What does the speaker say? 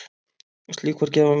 Slík var gæfa mín.